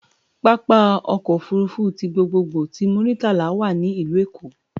Pápá ọkọ̀ òfurufú ti gbogbogbò ti Muritala wà ní ìlú Èkó